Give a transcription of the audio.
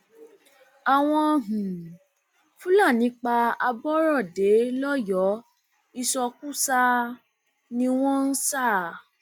àwọn um fúlàní pa aborọdé lọyọọ ìsọkúsàá um ni wọn sá a